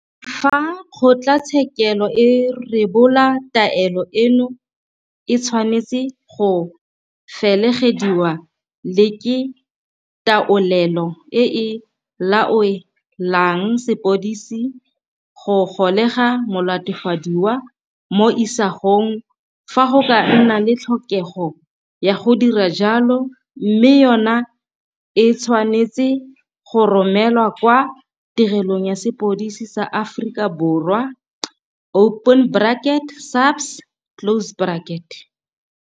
Fa kgotlatshekelo e rebola taelo eno e tshwanetse go felegediwa le ke taolelo e e laoelang sepodisi go golega molatofadiwa mo isagong fa go ka nna le tlhokego ya go dira jalo mme yona e tshwa netse go romelwa kwa Tirelong ya Sepodisi sa Aforika Borwa, SAPS.